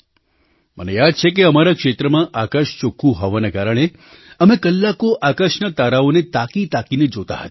મને યાદ છે કે અમારા ક્ષેત્રમાં આકાશ ચોખ્ખું હોવાના કારણે અમે કલાકો આકાશના તારાઓને તાકીતાકીને જોતા હતા